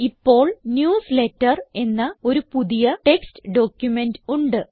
ഇപ്പോൾ ന്യൂസ്ലേറ്റർ എന്ന ഒരു പുതിയ ടെക്സ്റ്റ് ഡോക്യുമെന്റ് ഉണ്ട്